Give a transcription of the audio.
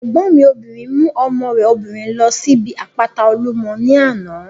Ẹ̀gbọ́n mi obìnrin mú ọmọ rẹ̀ obìnrin ló síbi àpáta Olúmọ ní àná